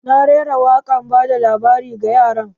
Na rera wakar bada labari ga yaran